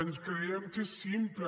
ens creiem que és simple